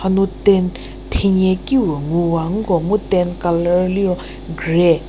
hanu tent thenyie ki puo ngu wa nko mu tent colour liro grey.